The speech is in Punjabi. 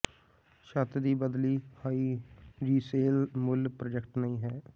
ਛੱਤ ਦੀ ਬਦਲੀ ਹਾਈ ਰੀਸਲੇਅਲ ਮੁੱਲ ਪ੍ਰਾਜੈਕਟ ਨਹੀਂ ਹੈ